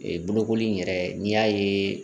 Ee bolokoli in yɛrɛ n'i y'a ye